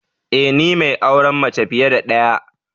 Ee ni mai auren mace fiye da daya